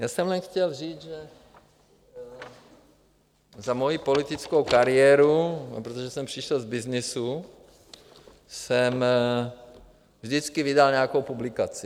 Já jsem jen chtěl říct, že za moji politickou kariéru, protože jsem přišel z byznysu, jsem vždycky vydal nějakou publikaci.